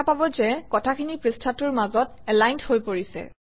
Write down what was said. দেখা পাব যে কথাখিনি পৃষ্ঠাটোৰ মাজত এলাইনড হৈ পৰিছে